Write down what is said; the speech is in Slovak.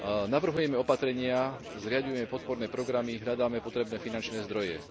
Navrhujeme opatrenia, zriaďujeme podporné programy, hľadáme potrebné finančné zdroje.